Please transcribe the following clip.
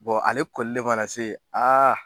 Bɔ ale kɔlen mana se